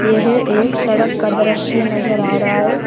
यह एक सड़क का दृश्य नजर आ रहा है।